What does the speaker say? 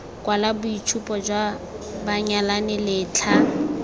kwala boitshupo jwa banyalani letlha